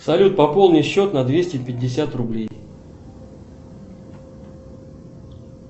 салют пополни счет на двести пятьдесят рублей